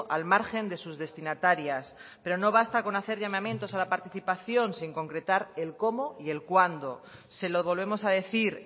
al margen de sus destinatarias pero no basta con hacer llamamientos a la participación sin concretar el cómo y el cuándo se lo volvemos a decir